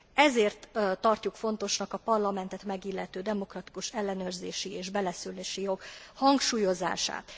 Ezért tartjuk fontosnak a Parlamentet megillető demokratikus ellenőrzési és beleszólási jog hangsúlyozását.